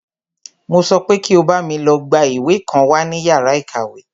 Mo sọ pé kí o bámi lọ gbá ìwé kan wá ní yàrá ìkàwé!